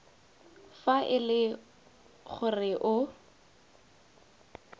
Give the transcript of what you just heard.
fa e le gore o